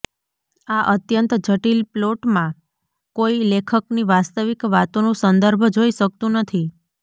આ અત્યંત જટિલ પ્લોટમાં કોઈ લેખકની વાસ્તવિક વાતોનું સંદર્ભ જોઈ શકતું નથી